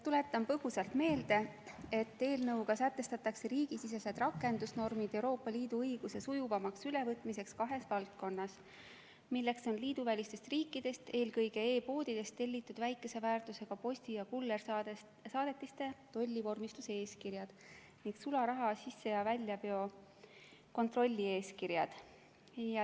Tuletan põgusalt meelde, et eelnõuga sätestatakse riigisisesed rakendusnormid Euroopa Liidu õiguse sujuvamaks ülevõtmiseks kahes valdkonnas, milleks on liiduvälistest riikidest, eelkõige e-poodidest tellitud väikese väärtusega posti- ja kullersaadetiste tollivormistuse eeskirjad ning sularaha sisse- ja väljaveo kontrolli eeskirjad.